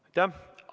Aitäh!